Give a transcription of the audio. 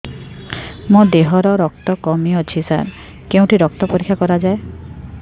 ମୋ ଦିହରେ ରକ୍ତ କମି ଅଛି ସାର କେଉଁଠି ରକ୍ତ ପରୀକ୍ଷା କରାଯାଏ